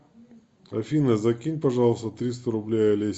афина закинь пожалуйста триста рублей олесе